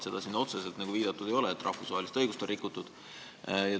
Siin ei ole otseselt viidatud sellele, et rahvusvahelist õigust on rikutud.